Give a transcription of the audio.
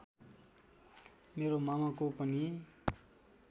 मेरो मामाको पनि